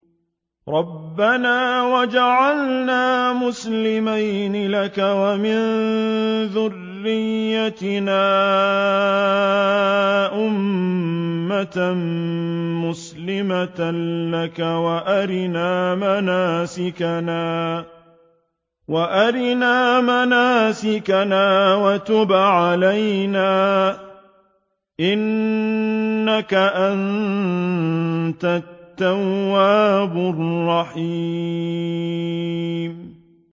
رَبَّنَا وَاجْعَلْنَا مُسْلِمَيْنِ لَكَ وَمِن ذُرِّيَّتِنَا أُمَّةً مُّسْلِمَةً لَّكَ وَأَرِنَا مَنَاسِكَنَا وَتُبْ عَلَيْنَا ۖ إِنَّكَ أَنتَ التَّوَّابُ الرَّحِيمُ